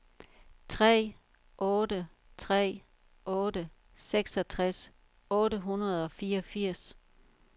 tre otte tre otte seksogtres otte hundrede og fireogfirs